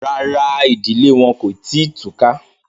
Rárá, ìdílé wọn kò tí ì túká